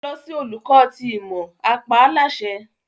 Lọ si Oluko ti Imọ! a pa á láṣẹ